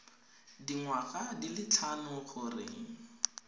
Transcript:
dingwaga di le tlhano gore